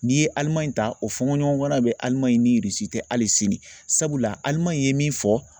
N'i ye Alimaɲi ta o fɔɲɔgɔnkɔ a bɛ Alimaɲi ni tɛ hali sini sabula Alimaɲi ye min fɔ